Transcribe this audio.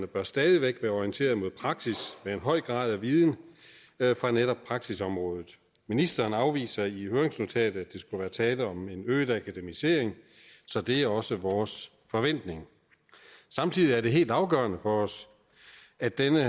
bør stadig væk være orienteret mod praksis med en høj grad af viden fra netop praksisområdet ministeren afviser i høringsnotatet at der skulle være tale om en øget akademisering så det er også vores forventning samtidig er det helt afgørende for os at denne